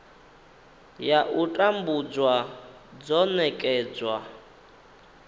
ya u tambudzwa dzo nekedzwa